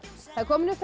það er komin upp